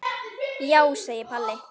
Já, segir Palli.